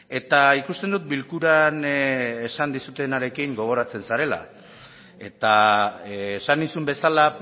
eta ikusten dut bilkuran esan dizutenarekin gogoratzen zarela eta esan nizun bezala